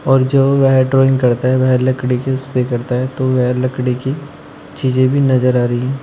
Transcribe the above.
और जो वह ड्राइंग करता है वह लकड़ी के उसपे करता है तो वह लकड़ी की चीजे भी नजर आ रही--